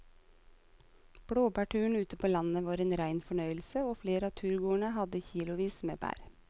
Blåbærturen ute på landet var en rein fornøyelse og flere av turgåerene hadde kilosvis med bær.